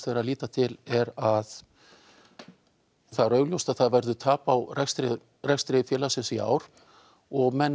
verið að líta til er að það er augljóst að það verður tap á rekstri rekstri félagsins í ár og menn